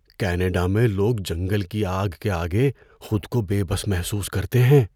Canada میں لوگ جنگل کی آگ کے آگے خود کو بے بس محسوس کرتے ہیں۔